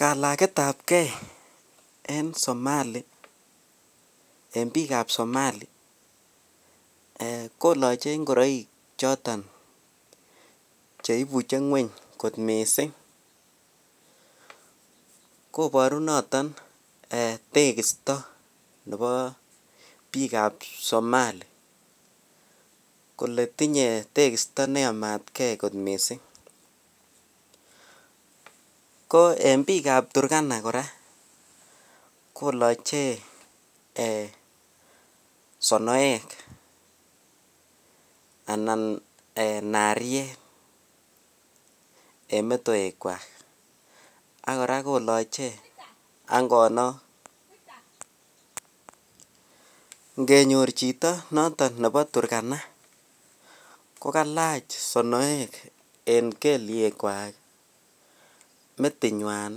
Kalaketabke en Somali en biikab somali koloche ngoroik choton cheibuche ngweny kot mising, koboru noton tekisto nebo biikab Somali kolee tinye tekisto neyamatke kot mising, ko en biikab Turkana kora koloche eeh sonoek anan nariet en metoekwak, ak kora koloche angonok, ngenyor chito noton nebo turkana ko kalach sonoek en keliekwak, metinywan,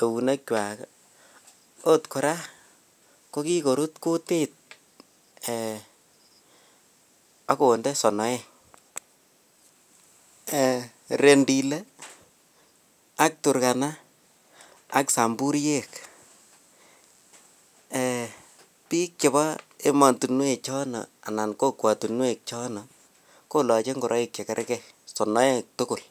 eunekwak oot kora kokikorut kutit eeh ak konde sonoek, Rendile ak turkana ak Samburiek, biik chebo emotinwe chono anan kokwotinwe chono koloche ngoroik chekerke, sonoek tukul.